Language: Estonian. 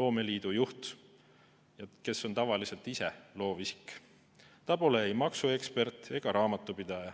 loomeliidu juht, kes on tavaliselt ise loovisik, ta pole ei maksuekspert ega raamatupidaja.